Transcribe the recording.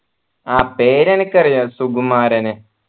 ആ പേര് എനിക്കറിയ സുകുമാരൻ